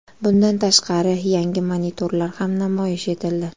Bundan tashqari, yangi monitorlar ham namoyish etildi.